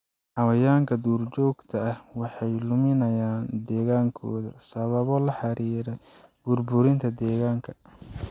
Xayawaanka duurjoogta ah waxay luminayaan deegaankooda sababo la xiriira burburinta deegaanka.